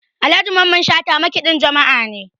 Alhaji Mamman Shata makaɗin jama'a ne